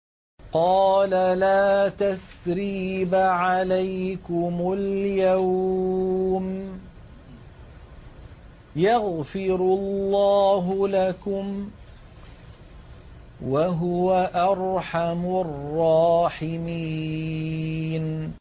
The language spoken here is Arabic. قَالَ لَا تَثْرِيبَ عَلَيْكُمُ الْيَوْمَ ۖ يَغْفِرُ اللَّهُ لَكُمْ ۖ وَهُوَ أَرْحَمُ الرَّاحِمِينَ